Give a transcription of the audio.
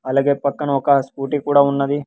అలాగే పక్కన ఒక స్కూటీ కూడా ఉన్నది.